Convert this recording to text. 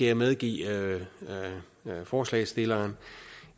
jeg medgive forslagsstilleren